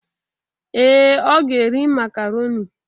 Ee, ọ ga-eri macaroni